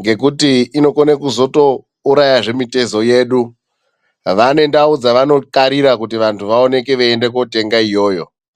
ngekuti inokona kuzotourayazve mitezo yedu. Vane ndau dzavanokarira kuti vantu vaende kotenga iyoyo.